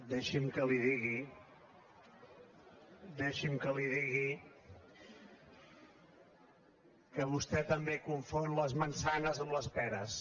deixi’m que li digui deixi’m que li ho digui que vostè també confon les manzanas amb les peres